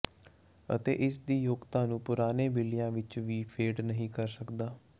ਅਤੇ ਇਸ ਦੀ ਯੋਗਤਾ ਨੂੰ ਪੁਰਾਣੇ ਬਿੱਲੀਆ ਵਿਚ ਵੀ ਫੇਡ ਨਹੀ ਕਰਦਾ ਹੈ